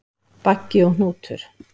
Baggi og Hnútur,